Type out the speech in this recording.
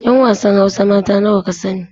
'Yan wasan hausa mata nawa ka sani